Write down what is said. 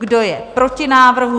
Kdo je proti návrhu?